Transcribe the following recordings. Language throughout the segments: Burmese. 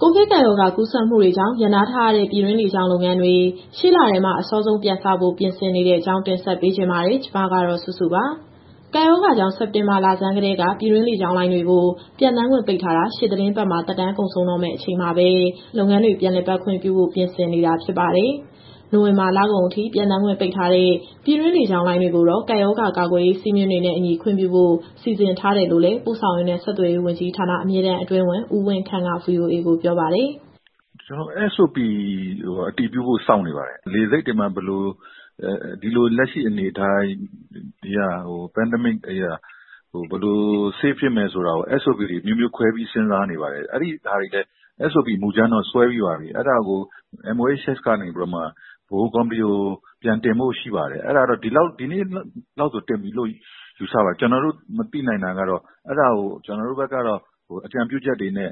ကိုဗစ်ကပ်ရောဂါ ကူးစက်မှုတွေကြောင့် ရပ်နားထားရတဲ့ ပြည်တွင်းလေကြောင်း လုပ်ငန်းတွေ အစောဆုံး ရှေ့လထဲမှာ ပြန်စဖို့ ပြင်ဆင်နေတဲ့အကြောင်း တင်ဆက်ပေးချင်ပါတယ်။ ဗွီအိုအေမြန်မာပိုင်းသတင်းထောက် မစုစုက သတင်းပေးပို့ထားပါတယ်။ ကပ်ရောဂါကြောင့် စက်တင်ဘာလဆန်းကတည်းက ပြည်တွင်းလေကြောင်းလိုင်းတွေကို ပျံသန်းခွင့်ပိတ်ထားတာ ရှေ့သီတင်းပတ်မှာ သက်တမ်းကုန်ဆုံးတော့မယ့် အချိန်မှာပဲ လုပ်ငန်းတွေ ပြန်လည်ပတ်ခွင့်ပြုဖို့ ပြင်ဆင်နေတာ ဖြစ်ပါတယ်။ နိုဝင်ဘာလကုန်အထိ ပျံသန်းခွင့်ပိတ်ထားတဲ့ ပြည်တွင်းလေကြောင်းလိုင်းတွေကိုတော့ ကပ်ရောဂါကာကွယ်ရေး စည်းမျဉ်းစည်းကမ်းတွေနဲ့အညီ ခွင့်ပြုဖို့ စီစဉ်ထားတယ်လို့လည်း ပို့ဆောင်ရေးနဲ့ဆက်သွယ်ရေးဝန်ကြီးဌာန၊ အမြဲတမ်းအတွင်းဝန် ဦးဝင်းခန့်က VOA ကိုပြောပါတယ်။ "ကျနော်တို့ SOP (Standard Operating Procedure) အတည်ပြုဖို့ စောင့်နေပါတယ်။ ဒီကပ်ရောဂါကာလမှာ လေဆိပ်တွေမှာ ဘယ်လို.. ဒီလို လက်ရှိအနေအထားအရ လုံခြုံအောင်လို့ SOP တွေ အမျိုးမျိုးခွဲပြီးစဉ်းစားနေပါတယ်။ SOP မူကြမ်းတော့ဆွဲပြီးပါပြီ၊ အဲဒါကို MOHS ကနေပြီးတော့ ဗဟိုကော်မတီကို ပြန်တင်ဖို့ရှိပါတယ်။ အဲဒါက ဒီနေ့လောက် တင်ပြီလို့ယူဆပါတယ်။ ကျနော်တို့မသိနိုင်တာက အဲဒါကို ကျနော်တို့ဘက်ကနေတော့ အကြံပြုချက်တွေနဲ့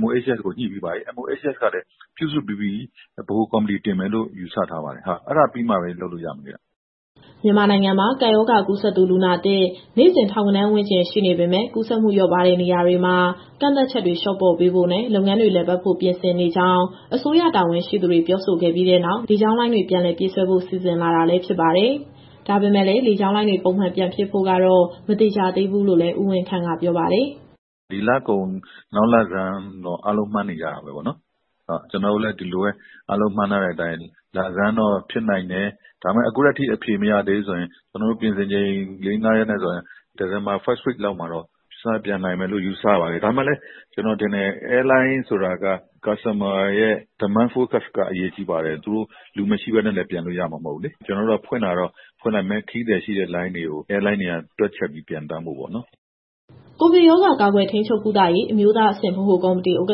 MOHS ကိုညှိပြီးပါပြီ။ MOHS ကလည်း ပြုစုပြီးပြီ၊ ဗဟိုကော်မတီတင်မယ်လို့ ယူဆထားပါတယ်။ အဲဒါပြီးမှပဲ လုပ်လို့ရမယ်ဗျ။" မြန်မာနိုင်ငံမှာ ကပ်ရောဂါကူးစက်သူ လူနာသစ် နေ့စဉ် ထောင်ဂဏန်းဝန်းကျင် ရှိနေပေမဲ့ ကူးစက်မှု လျော့ပါးတဲ့ နေရာတွေမှာ ကန့်သတ်ချက်တွေ လျှော့ပေါ့ပေးဖို့နဲ့ လုပ်ငန်းတွေ လည်ပတ်ဖို့ ပြင်ဆင်နေကြောင်း အစိုးရတာဝန်ရှိသူတွေ ပြောဆိုခဲ့ပြီးနောက် လေကြောင်းလိုင်းတွေ ပြန်လည်ပြေးဆွဲဖို့ စီစဉ်လာတာလည်း ဖြစ်ပါတယ်။ ဒါပေမဲ့လည်း လေကြောင်းလုပ်ငန်းတွေ ပုံမှန်ပြန်ဖြစ်ဖို့ကတော့ မသေချာသေးဘူးလို့လည်း ဦးဝင်းခန့်ကပြောပါတယ်။ "ဒီလကုန်၊ နောက်လဆန်းလောက်တော့ အားလုံးမှန်းနေကြတာပဲပေါ့နော်။ ကျနော်တို့လည်း ဒီလိုပဲ အားလုံးမှန်းထားတဲ့အတိုင်း လဆန်းတော့ဖြစ်နိုင်တယ်။ ဒါပေမဲ့ အခုထက်ထိ အဖြေမရသေးဘူးဆိုရင် ကျနော်တို့ပြင်ဆင်ချိန် ၄ - ၅ ရက်နဲ့ဆိုရင် ဒီဇင်ဘာပထမပတ်လောက်မှာတော့ စပျံနိုင်မယ်လို့ယူဆပါတယ်။ ဒါပေမဲ့လည်း ကျနော်ထင်တယ်၊ လေကြောင်းလိုင်းဆိုတာက Customer ရဲ့ Demand Focus က အရေးကြီးပါတယ်။ လူမရှိဘဲနဲ့လည်း ပျံလို့ရမှာမဟုတ်ဘူးလေ။ ကျနော်တို့က ဖွင့်တာတော့ ဖွင့်လိုက်မယ်၊ ခရီးသည်ရှိတဲ့ လေကြောင်းလိုင်းတွေက တွက်ချက်ပြီးပျံသန်းဖို့ပေါ့နော်။" ကိုဗစ်ရောဂါ ကာကွယ်၊ ထိန်းချုပ်၊ ကုသရေး အမျိုးသားအဆင့် ဗဟိုကော်မတီ ဥက္က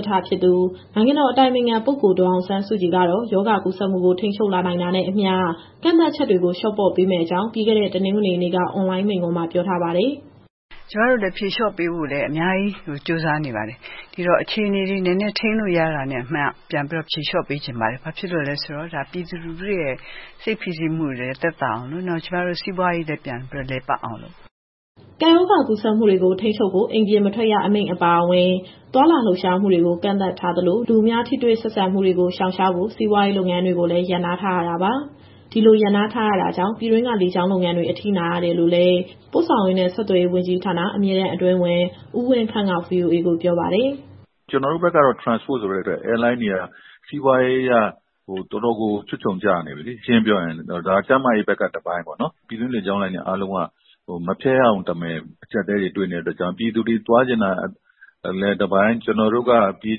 ဋ္ဌ နိုင်ငံတော်အတိုင်ပင်ခံပုဂ္ဂိုလ် အောင်ဆန်းစုကြည်ကတော့ ရောဂါကူးစက်မှုကို ထိန်းချုပ်လာနိုင်တာနဲ့အမျှ ကန့်သတ်ချက်တွေ လျှော့ပေါ့ပေးမယ့်အကြောင်း ပြီးခဲ့တဲ့တနင်္ဂနွေနေ့က အွန်လိုင်းမိန့်ခွန်းမှာ ပြောထားပါတယ်။ "ကျမတို့လည်း ဖြေလျှော့ပေးဖို့လည်း အများကြီးကြိုးစားနေပါတယ်။ ဒီတော့ အခြေအနေတွေ နည်းနည်းထိန်းလို့ရတာနဲ့ ပြန်ပြီးတော့ဖြေလျှော့ပေးချင်ပါတယ်။ ဘာဖြစ်လို့လဲဆိုတော့ ဒါပြည်သူလူထုရဲ့ စိတ်ဖိစီးမှုတွေလည်း သက်သာအောင်လို့၊ နောက်ကျမတို့ စီးပွားရေးလည်း ပြန်ပြီးတော့လည်ပတ်အောင်လို့ပါ။" ကပ်ရောဂါကူးစက်မှုတွေကို ထိန်းချုပ်ဖို့ အိမ်ပြင်မထွက်ရ အမိန့်အပါအဝင် သွားလာလှုပ်ရှားမှုတွေကို ကန့်သတ်ထားသလို၊ လူအများ ထိတွေ့ဆက်ဆံမှုတွေကို ရှောင်ရှားဖို့ စီးပွားရေးလုပ်ငန်းတွေကိုလည်း ရပ်နားထားရတာပါ။ ဒီလိုရပ်နားထားရတာကြောင့် ပြည်တွင်းက လေကြောင်းလုပ်ငန်းတွေ အထိနာနေရတယ်လို့လည်း ပို့ဆောင်ရေးနဲ့ ဆက်သွယ်ရေးဝန်ကြီးဌာန၊ အမြဲတမ်းအတွင်းဝန် ဦးဝင်းခန့်က ပြောပါတယ်။ "ကျနော်တို့ဘက်ကတော့ Transport ဆိုတဲ့အတွက် Airlines တွေက စီးပွားရေးအရ တော်တော်ကိုချွတ်ချုံကျနေပြီလေ ရှင်းရှင်းပြောရရင်။ ဒါကျန်းမာရေးဘက်က တပိုင်းပေါ့နော်။ ပြည်တွင်းလေကြောင်းလိုင်းတွေအားလုံးက မဖျက်ရရုံတမယ် အကြပ်အတည်းတွေတွေ့နေတဲ့အတွက်ကြောင့် ပြည်သူတွေသွားချင်တာလည်း တပိုင်း၊ ကျနော်တို့က ပြေး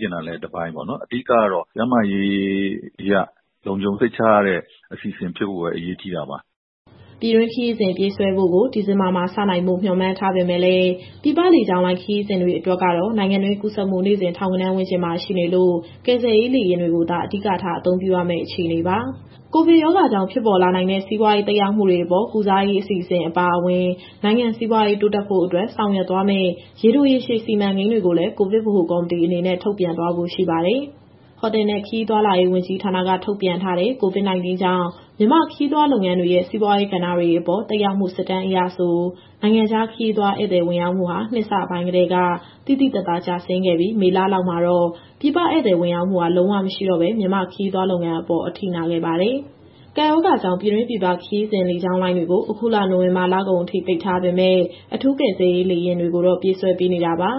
ချင်တာလည်း တပိုင်းပေါ့နော်။ အဓိကတော့ ကျန်းမာရေးအရ လုံခြုံစိတ်ချရတဲ့အစီအစဉ်ဖြစ်ဖို့ပဲ အရေးကြီးတာပါ။" ပြည်တွင်းခရီးစဉ်ပြေးဆွဲဖို့ကို ဒီဇင်ဘာမှာစနိုင်ဖို့ မျှော်မှန်းထားပေမဲ့လည်း ပြည်ပလေကြောင်းလိုင်းခရီးစဉ်တွေအတွက်ကတော့ နိုင်ငံတွင်းကူးစက်မှု နေ့စဉ်ထောင်ဂဏန်းဝန်းကျင်မှာရှိနေလို့ ကယ်ဆယ်ရေးလေယာဉ်တွေကိုသာ အဓိကထား အသုံးပြုရမယ့်အခြေအနေပါ။ ကိုဗစ်ရောဂါကြောင့် ဖြစ်ပေါ်လာနိုင်တဲ့ စီးပွားရေး သက်ရောက်မှုတွေအပေါ် ကုစားရေးအစီအစဉ်အပါအဝင်၊ နိုင်ငံစီးပွားရေး တိုးတက်ဖို့အတွက် ဆောင်ရွက်သွားမယ့် ရေတို၊ ရေရှည်စီမံကိန်းတွေကိုလည်း ကိုဗစ်ဗဟိုကော်မတီအနေနဲ့ ထုတ်ပြန်သွားဖို့ရှိပါတယ်။ ဟိုတယ်နဲ့ ခရီးသွားလာရေးဝန်ကြီးဌာနက ထုတ်ပြန်ထားတဲ့ COVID- 19 ကြောင့် မြန်မာ့ခရီးသွားလုပ်ငန်းရဲ့ စီးပွားရေးကဏ္ဍတွေအပေါ် သက်ရောက်မှု စစ်တမ်းအရဆို နိုင်ငံခြားခရီးသွားဧည့်သည် ဝင်ရောက်မှုဟာ နှစ်အစပိုင်းကတည်းက သိသိသာသာကျဆင်းခဲ့ပြီး မေလလောက်မှာတော့ ပြည်ပဧည့်သည်ဝင်ရောက်မှုဟာ လုံးဝမရှိတော့ဘဲ မြန်မာ့ခရီးသွားလုပ်ငန်းအပေါ် အထိနာခဲ့ပါတယ်။ ကပ်ရောဂါကြောင့် ပြည်တွင်းပြည်ပခရီးစဉ် လေကြောင်းလိုင်းတွေကို အခုလ နိုဝင်ဘာလကုန်အထိ ပိတ်ထားပေမဲ့ အထူးကယ်ဆယ်ရေးလေယာဉ်တွေကိုတော့ ပြေးဆွဲပေးနေတာပါ။